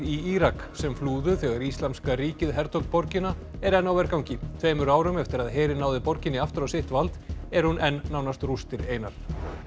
í Írak sem flúðu þegar Íslamska ríkið hertók borgina er enn á vergangi tveimur árum eftir að herinn náði borginni aftur á sitt vald er hún enn nánast rústir einar